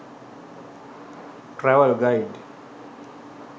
travel guide